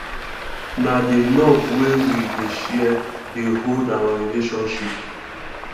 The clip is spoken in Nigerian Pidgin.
na di love wey we dey share dey hold our relationship